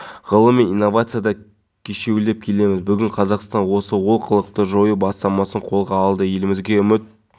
сауд арабиясы тұрғындарының көп бөлігі имамдар ештеңе істемейді жайдан жай көп айлық алады деп есептейді олардың